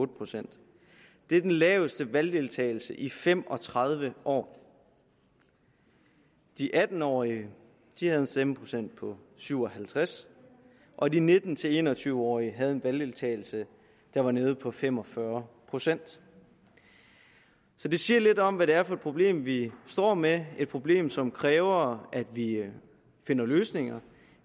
procent det er den laveste valgdeltagelse i fem og tredive år de atten årige havde en stemmeprocent på syv og halvtreds og de nitten til en og tyve årige havde en valgdeltagelse der var nede på fem og fyrre procent så det siger lidt om hvad det er for et problem vi står med et problem som kræver at vi finder løsninger